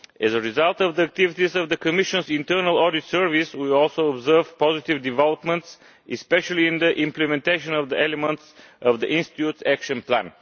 As a result of the activities of the Commission's Internal Audit Service we also observe positive developments, especially in the implementation of the elements of the institute's action plan.